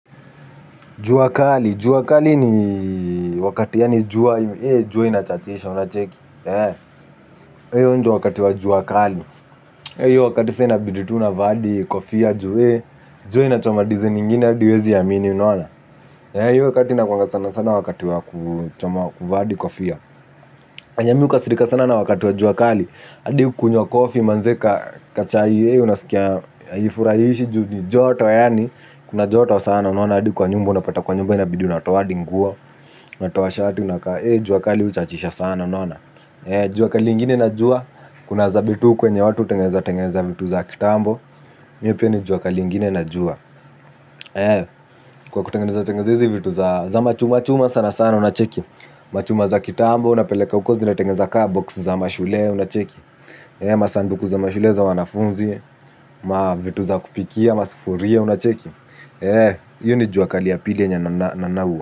Juwakali, juwa kali ni wakati ya ni juwa, eh juwe inachachisha unacheki Heo njowa wakati wajuakali Heo wakati sena biditu unavadi kofia jwe. Jwe na chomadizi ningine adiwezi yamini unawana Heo wakati ina kwanga sana sana wakati waku choma kuva adi kofia enye mi uka sirika sana wakati wajuakali adi kunywa kofi manzeka kachai Heo unasikia ifurahishi joto yani. Kuna joto sana unaona. Adi kwa nyumba unapata kwa nyumba inabidi unatao aadi nguo. Unatao shati unakaa Heo juakali uchachisha sana unaona. Jua ka lingine na jua, kuna zabe tu kwenye watu tengeza tengeza vitu za kitambo. Mi hio pia ni jwaka lingine na jua. Kwa kutengeza tengeza hizi vitu za machuma chuma sana sana unacheki. Machuma za kitambo unapeleka uko zi na tengeza kaa box za mashule unacheki. Masanduku za mashule za wanafunzi, ma vitu za kupikia, masifuria unacheki. Yo ni juakali yapilia nyananaua.